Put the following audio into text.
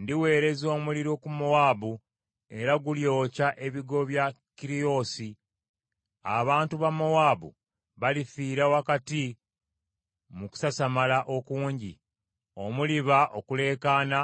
Ndiweereza omuliro ku Mowaabu era gulyokya ebigo bya Keriyoosi. Abantu ba Mowaabu balifiira wakati mu kusasamala okungi omuliba okuleekaana